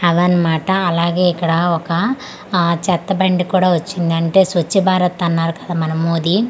అవి అన్నమాట అలాగే ఇక్కడ ఒక ఆ చెత్త బండి కూడా వచ్చింది అంటే స్వచ్చ భారత్ అన్నారు కదా మన మోది .